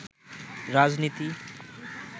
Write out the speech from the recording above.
রাজনীতি